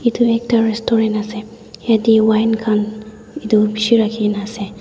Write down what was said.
edu ekta restaurant ase yatae wine khan edu bishi rakhikaena ase.